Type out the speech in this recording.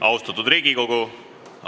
Austatud Riigikogu!